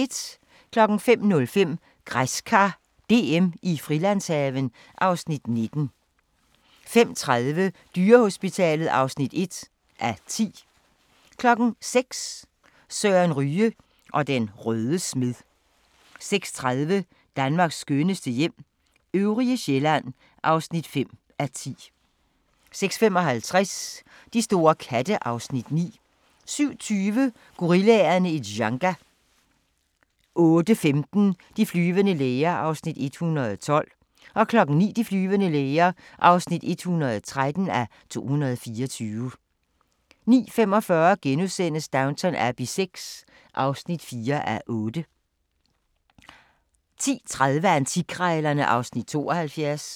05:05: Græskar DM i Frilandshaven (Afs. 19) 05:30: Dyrehospitalet (1:10) 06:00: Søren Ryge og den røde smed 06:30: Danmarks skønneste hjem - øvrige Sjælland (5:10) 06:55: De store katte (Afs. 9) 07:20: Gorillaerne i Dzanga 08:15: De flyvende læger (112:224) 09:00: De flyvende læger (113:224) 09:45: Downton Abbey VI (4:8)* 10:30: Antikkrejlerne (Afs. 72)